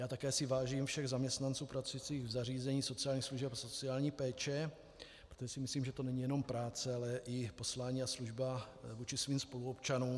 Já také si vážím všech zaměstnanců pracujících v zařízeních sociálních služeb a sociální péče, protože si myslím, že to není jenom práce, ale i poslání a služba vůči svým spoluobčanům.